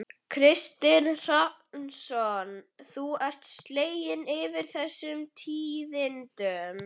Kristinn Hrafnsson: Þú ert slegin yfir þessum tíðindum?